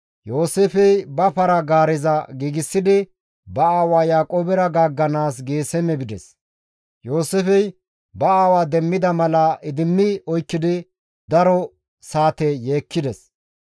Yooseefey ba para-gaareza giigsidi ba aawaa Yaaqoobera gaagganaas Geeseme bides. Yooseefey ba aawa demmida mala idimmi oykkidi daro saate yeekkides.